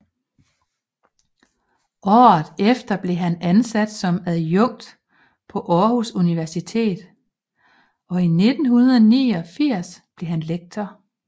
Året efter blev han ansat som adjunkt på Aarhus Universitet og i 1989 blev han lektor